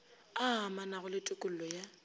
a amanago le tokollo ya